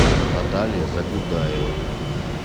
наталья загудаева